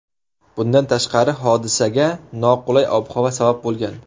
Bundan tashqari, hodisaga noqulay ob-havo sabab bo‘lgan.